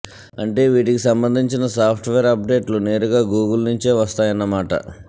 అంటే వీటికి సంబంధించిన సాఫ్ట్ వేర్ అప్ డేట్లు నేరుగా గూగుల్ నుంచే వస్తాయన్న మాట